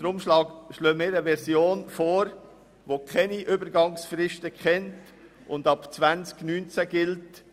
Deshalb schlagen wir eine Version vor, die keine Übergangsfrist kennt und ab dem Jahr 2019 gilt.